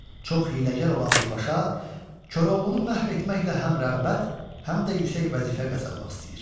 Çox hiyləgər olan bu paşa Koroğlunu məhv etməklə həm rəğbət, həm də yüksək vəzifə qazanmaq istəyir.